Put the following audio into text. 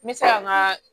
N bɛ se ka n ka